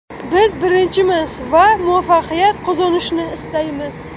Biz birinchimiz va muvaffaqiyat qozonishni istaymiz.